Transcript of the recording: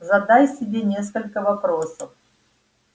задай себе несколько вопросов